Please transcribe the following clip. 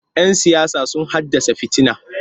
Yan siyasa sun haddasa fitina.